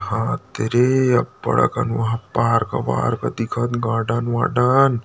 वहा दे रे अब्बड़ अकन पार्क वार्क दिखत गार्डन वार्डन--